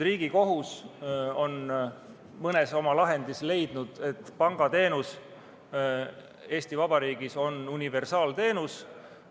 Riigikohus on mõnes lahendis leidnud, et pangateenus on Eesti Vabariigis universaalteenus.